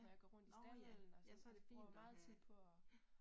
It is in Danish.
Ja, nåh ja, ja så det fint at have, ja